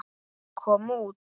kom út.